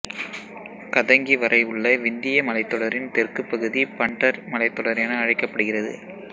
கதங்கி வரை உள்ள விந்திய மலைத்தொடரின் தெற்கு பகுதி பன்டர் மலைத்தொடர் என அழைக்கப்படுகிறது